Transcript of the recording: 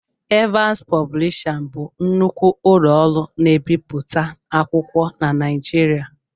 Evans Pọblisha bụ nnukwu ụlọ ọrụ na-ebiputa akwụkwọ na Naijiriia